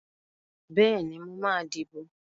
Bẹ́ẹ̀ni, mo máa dìbò.